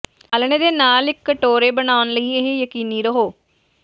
ਆਲ੍ਹਣੇ ਦੇ ਨਾਲ ਇੱਕ ਕਟੋਰੇ ਬਣਾਉਣ ਲਈ ਇਹ ਯਕੀਨੀ ਰਹੋ